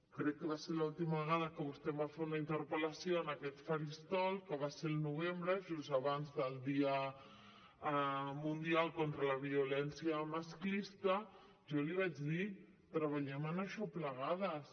crec que va ser l’última vegada que vostè em va fer una interpel·lació en aquest faristol que va ser al novembre just abans del dia mundial contra la violència masclista jo li vaig dir treballem en això plegades